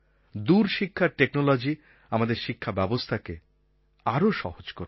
দূরশিক্ষার technology আমাদের শিক্ষা ব্যবস্থাকে আরও সহজ করবে